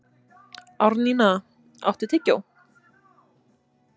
Árnína, áttu tyggjó?